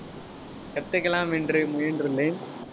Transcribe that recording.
கத்துக்கலாம் என்று முயன்றுள்ளேன்